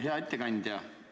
Hea ettekandja!